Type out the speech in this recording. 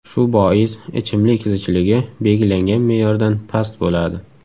Shu bois ichimlik zichligi belgilangan me’yordan past bo‘ladi.